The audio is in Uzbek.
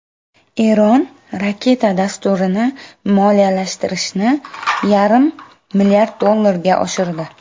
Eron raketa dasturini moliyalashtirishni yarim milliard dollarga oshirdi.